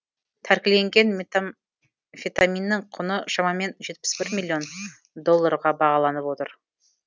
тәркіленген метамфетаминнің құны шамамен жетпіс бір миллион долларға бағаланып отыр